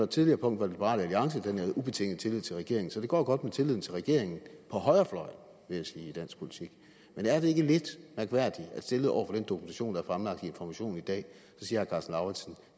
tidligere punkt var det liberal alliance der nærede ubetinget tillid til regeringen så det går godt med tilliden til regeringen på højrefløjen vil jeg sige i dansk politik men er det ikke lidt mærkværdigt at stillet over for den dokumentation der er fremlagt i information i dag siger